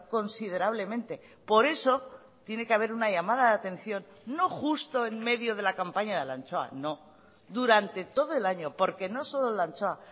considerablemente por eso tiene que haber una llamada de atención pero no justo en medio de la campaña de la anchoa sino que durante todo el año porque no solo la anchoa